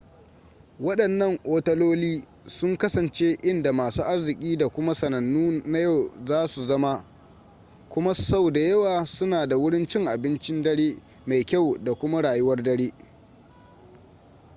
waɗannan otaloli sun kasance inda masu arziki da kuma sanannu na yau za su zama kuma sau da yawa suna da wurin cin abincin dare mai kyau da kuma rayuwar dare